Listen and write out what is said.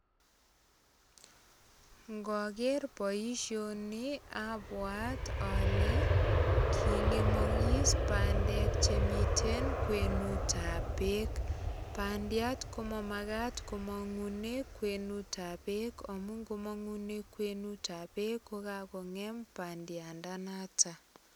Ngoger boisioni abwat ale king'emagis bandek che miten kwenutab beek. Bandiat ko mamagat komang'une kwenutab beek amu ngomang'une kwenitab beek ko kagong'em bandiandanoto.